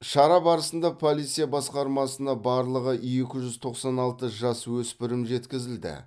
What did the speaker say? шара барысында полиция басқармасына барлығы екі жүз тоқсан алты жасөспірім жеткізілді